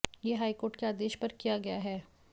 ये हाईकोर्ट के आदेश पर किया गया है